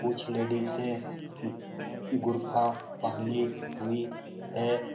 कुछ लेडीजे हैं। बू बुरखा पहनी हुई है।